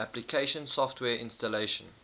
application software installation